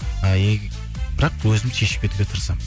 і бірақ өзім шешіп кетуге тырысамын